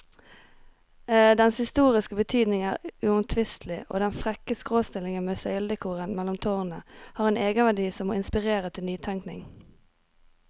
Dens historiske betydning er uomtvistelig, og den frekke skråstillingen med søyledekoren mellom tårnene har en egenverdi som må inspirere til nytenkning.